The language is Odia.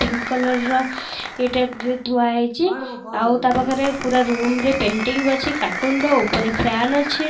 ପିଙ୍କ୍ କଲର ର ଏଇଟା ଡ ଡ ଧୁଆ ହେଇଛି ଆଉ ତା ପାଖରେ ପୁରା ରୁମ୍ ରେ ପେଣ୍ଟିଂ ଅଛି କାଟୁନ ର ଉପରେ ଫ୍ୟାନ ଅଛି।